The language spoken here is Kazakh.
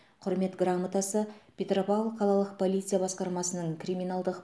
құрмет грамотасы петропавл қалалық полиция басқармасының криминалдық